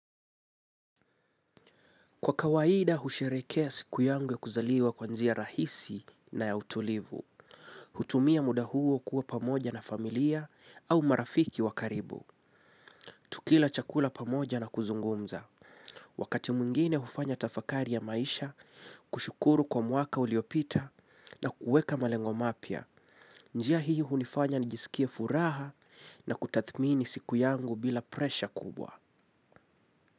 Kwa kawaida, husherekea siku yangu ya kuzaliwa kwa njia rahisi na ya utulivu. Hutumia muda huo kuwa pamoja na familia au marafiki wa karibu. Tukila chakula pamoja na kuzungumza. Wakati mwingine hufanya tafakari ya maisha, kushukuru kwa mwaka uliopita na kuweka malengo mapya. Njia hii hunifanya nijiskie furaha na kutathimini siku yangu bila presha kubwa.